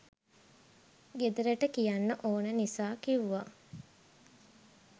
ගෙදරට කියන්න ඕන නිසා කිවුව